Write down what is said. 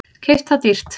Keypt það dýrt.